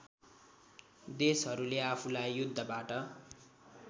देशहरुले आफूलाई युद्धबाट